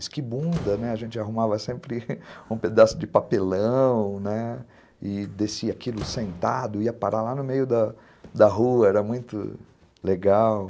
esquibunda, a gente arrumava sempre um pedaço de papelão e descia aquilo sentado, ia parar lá no meio da da rua, era muito legal.